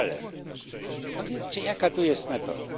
Ale powiedzcie, jaka to jest metoda.